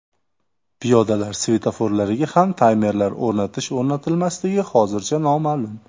Piyodalar svetoforlariga ham taymerlar o‘rnatish-o‘rnatilmasligi hozircha noma’lum.